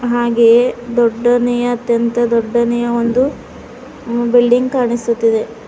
ಹಾಗೆಯೇ ದೊಡ್ಡನೆಯ ಅತ್ಯಂತ ದೊಡ್ಡನೆಯ ಒಂದು ಅ ಬಿಲ್ಡಿಂಗ್ ಕಾಣಿಸುತ್ತಿದೆ.